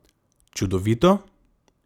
Čudovito?